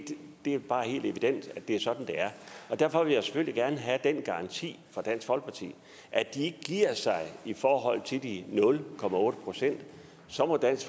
er bare helt evident at det er sådan det er og derfor vil jeg selvfølgelig gerne have den garanti fra dansk folkeparti at de ikke giver sig i forhold til de nul procent så må dansk